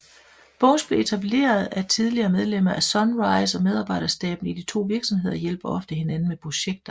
Bones blev etableret af tidligere medlemmer af Sunrise og medarbejderstaben i de to virksomheder hjælper ofte hinanden med projekter